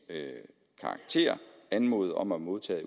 karakter anmodet om at modtage